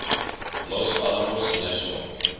los alamos national